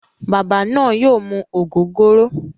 Baba naa yoo mu ogogoro.